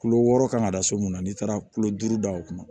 Kulo wɔɔrɔ kan ka da so mun na n'i taara kulo duuru da o kunna